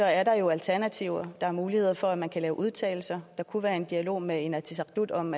er der jo alternativer der er muligheder for at man kan udtalelser og der kunne være en dialog med inatsisartut om